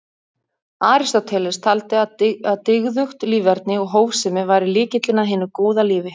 Aristóteles taldi að dygðugt líferni og hófsemi væri lykillinn að hinu góða lífi.